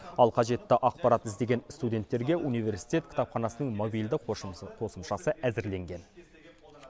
ал қажетті ақпарат іздеген студенттерге университет кітапханасының мобильді қосымшасы әзірленген